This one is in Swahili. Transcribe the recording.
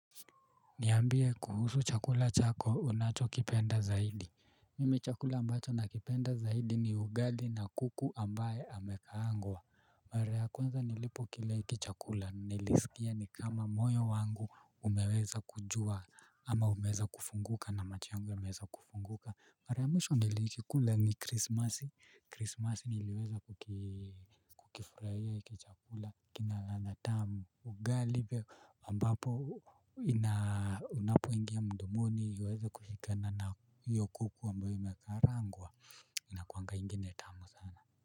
Niambie kuhusu chakula chako unacho kipenda zaidi. Mimi chakula ambacho nakipenda zaidi ni ugali na kuku ambaye amekaangwa. Mara ya kwenza nilipokila hiki chakula nilisikia ni kama moyo wangu umeweza kujua ama umeweza kufunguka na macho yangu yameweza kufunguka mara ya mwisho nilikikula ni krismasi krismasi niliweza kukifurahia hiki chakula kina ladha tamu ugali pia ambapo unapoingia mdomoni uweze kushikana na hiyo kuku ambayo imakarangwa inakuanga ingine tamu sana.